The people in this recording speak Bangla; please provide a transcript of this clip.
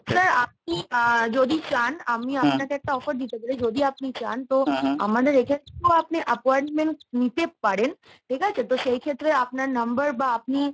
sir আপনি আহ যদি চান আমি আপনাকে একটা offer দিতে পারি যদি আপনি চান তো আমাদের এক্ষেত্রে তো আপনি appointment নিতে পারেন ঠিক আছে? তো সেই ক্ষেত্রে আপনার number বা আপনি